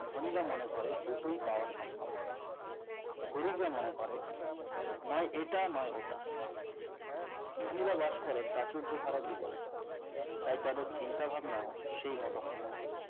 ধনীরা মনে করে দুটো পাওয়াই সম্ভব গরিবরা মনে করে নয় এটা নয় ওটা ধনীরা বাস করেপ্রাচুর্য ভরা জীবনে তাই তাদের চিন্তাভাবনাও সেই মত হয়ে থাকে